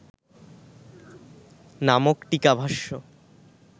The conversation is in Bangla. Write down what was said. নামক টীকাভাষ্য